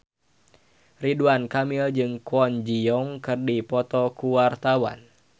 Ridwan Kamil jeung Kwon Ji Yong keur dipoto ku wartawan